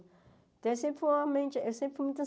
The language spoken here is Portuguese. Então, eu sempre fui uma mente eu sempre fui muito